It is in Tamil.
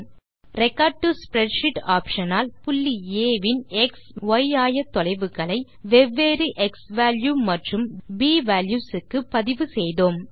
ரெக்கார்ட் டோ ஸ்ப்ரெட்ஷீட் ஆப்ஷன் ஆல் புள்ளி ஆ வின் எக்ஸ் மற்றும் ய் ஆயத்தொலைவுகளை வெவ்வேறு க்ஸ்வால்யூ மற்றும் ப் வால்யூஸ் க்கு பதிவு செய்தோம்